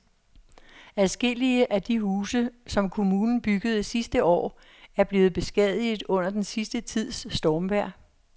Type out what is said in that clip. Adskillige af de huse, som kommunen byggede sidste år, er blevet beskadiget under den sidste tids stormvejr.